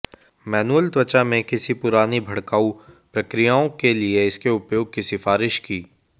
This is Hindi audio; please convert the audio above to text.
मैनुअल त्वचा में किसी पुरानी भड़काऊ प्रक्रियाओं के लिए इसके उपयोग की सिफारिश की